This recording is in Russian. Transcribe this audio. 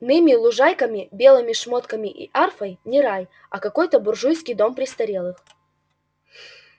ными лужайками белыми шмотками и арфой не рай а какой-то буржуйский дом престарелых